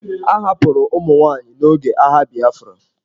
A hapụrụ ụmụ nwaanyị n'oge agha Biafra.